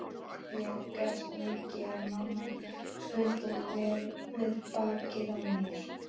Ég grét mikið en mamma studdi vel við bakið á mér.